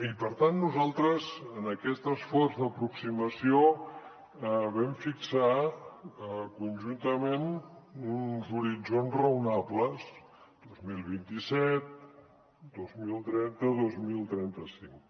i per tant nosaltres en aquest esforç d’aproximació vam fixar conjuntament uns horitzons raonables dos mil vint set dos mil trenta dos mil trenta cinc